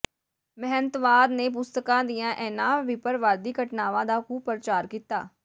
ਮਹੰਤਵਾਦ ਨੇ ਪੁਸਤਕਾਂ ਦੀਆਂ ਇਨ੍ਹਾਂ ਬਿੱਪਰਵਾਦੀ ਘਟਨਾਵਾਂ ਦਾ ਖ਼ੂਬ ਪ੍ਰਚਾਰ ਕੀਤਾ